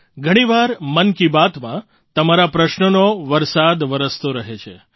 ઘણી વાર મન કી બાતમાં તમારા પ્રશ્નોનો વરસાદ વરસતો રહે છે